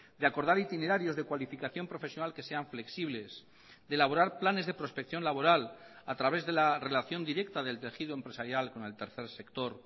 de acordar itinerarios de cualificación profesional que sean flexibles de elaborar planes de prospección laboral a través de la relación directa del tejido empresarial con el tercer sector